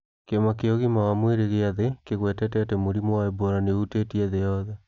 Kĩama kĩa Ũgima wa Mwĩrĩ gĩa Thĩ kĩgwetete atĩ mũrimũ wa Ebola nĩ ũhutĩtie thĩ yothe